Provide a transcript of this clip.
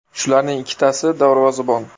Shularning ikkitasi darvozabon.